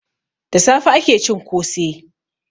Da safe ake cin kose.